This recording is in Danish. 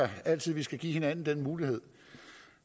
altid skal give hinanden den mulighed